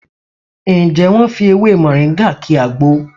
Ǹjẹ́ wọ́n fi ewé Mọ̀ríngà ki àgbo?